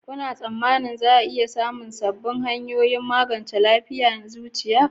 Kuna tsammanin za a sami sabbin hanyoyin magance lafiyar zuciya?